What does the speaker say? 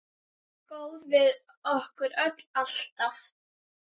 Góður við okkur öll, alltaf.